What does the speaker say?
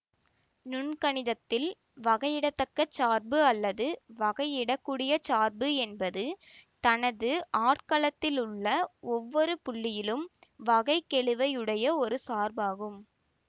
நுண்கணிதத்தில் வகையிட தக்க சார்பு அல்லது வகையிடக்கூடிய சார்பு என்பது தனது ஆட்களத்திலுள்ள ஒவ்வொரு புள்ளியிலும் வகைக்கெழுவுடைய ஒரு சார்பாகும்